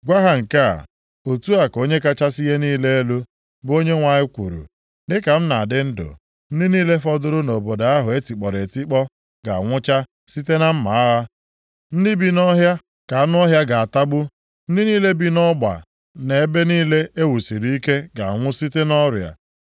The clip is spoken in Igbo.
“Gwa ha nke a, ‘Otu a ka Onye kachasị ihe niile elu, bụ Onyenwe anyị kwuru, dịka m na-adị ndụ, ndị niile fọdụrụ nʼobodo ahụ e tikpọrọ etikpọ ga-anwụcha site na mma agha. Ndị bi nʼọhịa ka anụ ọhịa ga-atagbu. Ndị niile bi nʼọgba na nʼebe niile e wusiri ike ga-anwụ site nʼọrịa.